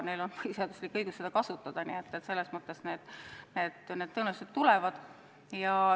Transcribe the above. Neil on põhiseaduslik õigus seda kasutada ja need nõuded tõenäoliselt tulevad.